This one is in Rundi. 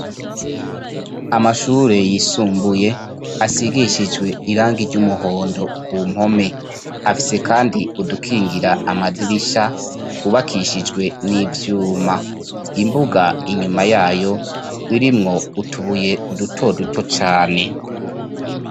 Amashure yisumbuye asigishijwe irangi ry'umuhondo ku mpome. Afise kandi udukingira amadirisha twubakishijwe n'ivyuma. Imbuga inyuma yayo irimwo utubuye duto duto cane.